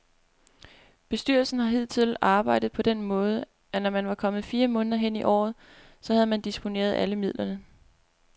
Bestyrelsen har hidtil arbejdet på den måde, at når man var kommet fire måneder hen i året, så havde man disponeret alle midlerne.